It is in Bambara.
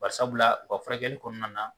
Bari sabula u ka furakɛli kɔnɔna na